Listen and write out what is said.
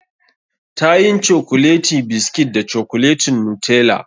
Tayin cokuleti biskit da cokuletin Nutella.